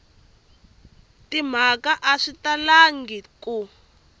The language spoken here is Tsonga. timhaka a swi talangi ku